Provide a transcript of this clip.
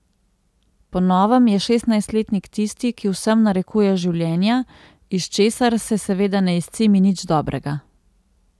Po novem je šestnajstletnik tisti, ki vsem narekuje življenja, iz česar se seveda ne izcimi nič dobrega.